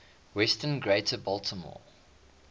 western greater baltimore